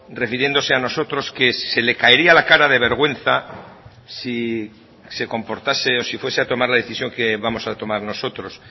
refiriéndose a nosotros que se le caería la cara de vergüenza si se comportase o si fuese a tomar la decisión que vamos a tomar nosotros